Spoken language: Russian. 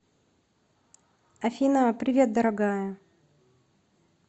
афина привет дорогая